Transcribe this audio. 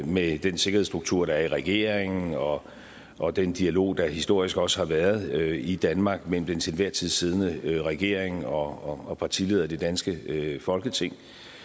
med den sikkerhedsstruktur der er i regeringen og og den dialog der historisk også har været i danmark mellem den til enhver tid siddende regering og og partilederne i det danske folketing